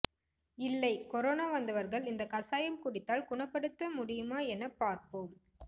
இல்லை கொரோனா வந்தவர்கள் இந்த கசாயம் குடித்தால் குணபடுத்த முடியுமா என பார்ப்போம்